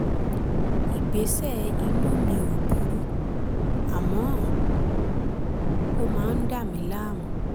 ìgbésẹ̀ inú mi ò burú àmọ́ ó máa ń dà mí láàmú